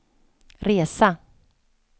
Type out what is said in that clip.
resa